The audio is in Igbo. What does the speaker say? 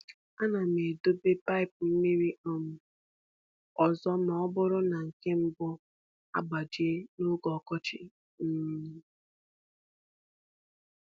Ana m edobe paịp mmiri um ọzọ ma ọ bụrụ na nke mbụ agbaji n’oge ọkọchị. um